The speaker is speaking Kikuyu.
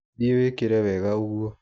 Thiĩ wĩkĩre wega ũguo.